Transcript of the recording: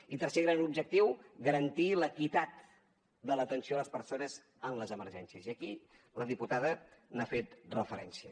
i tercer gran objectiu garantir l’equitat de l’atenció a les persones en les emergències i aquí la diputada hi ha fet referència